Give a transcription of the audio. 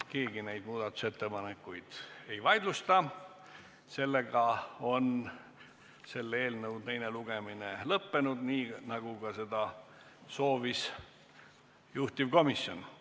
Keegi neid muudatusettepanekuid ei vaidlusta, seega on eelnõu teine lugemine lõppenud, nii nagu seda soovis ka juhtivkomisjon.